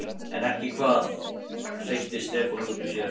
En ekki hvað? hreytti Stefán út úr sér.